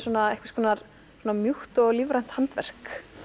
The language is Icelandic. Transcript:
einhvers konar svona mjúkt og lífrænt handverk